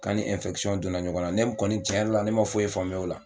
K'ani donna ɲɔgɔn na ne kɔni cɛn yɛrɛ la ne m'a foyi faamuya o la.